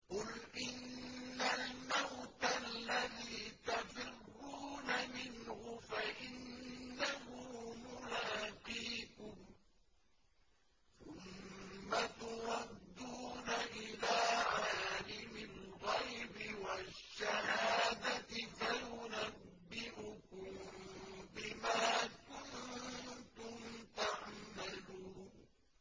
قُلْ إِنَّ الْمَوْتَ الَّذِي تَفِرُّونَ مِنْهُ فَإِنَّهُ مُلَاقِيكُمْ ۖ ثُمَّ تُرَدُّونَ إِلَىٰ عَالِمِ الْغَيْبِ وَالشَّهَادَةِ فَيُنَبِّئُكُم بِمَا كُنتُمْ تَعْمَلُونَ